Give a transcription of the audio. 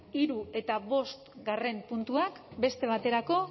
hirugarren eta bosgarren puntuak beste baterako